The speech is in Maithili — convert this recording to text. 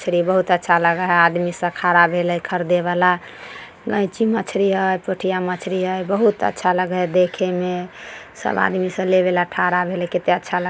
मछली बहुत अच्छा लागल हई आदमी सब खड़ा भेल ऐ खरीदे वला गय ची मछली हई पोठिया मछली हईबहुत अच्छा लगे हई देखे में सब आदमी सब ले वला खड़ा हई--